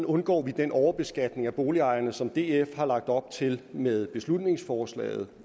undgår den overbeskatning af boligejerne som df har lagt op til med beslutningsforslaget